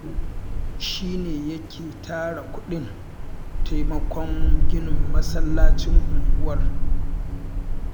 Haladu shi ne yake tara kuɗin taimakon ginin masallacin unguwar